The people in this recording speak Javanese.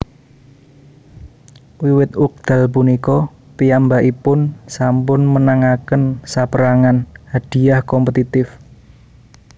Wiwit wekdal punika piyambakipun sampun menangaken sapérangan hadhiah kompetitif